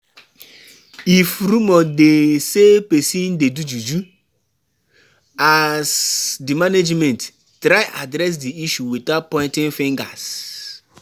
If rumor dey sey person dey do juju, as di management, try address di issue without pointing fingers